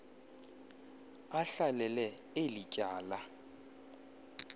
ahlalele eli tyala